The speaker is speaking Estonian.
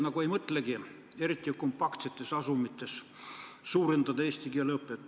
Aga vene koolid, eriti kompaktsetes asumites, justkui ei mõtlegi kasvatada eesti keele õpet.